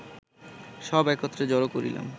সব একত্র জড় করিলাম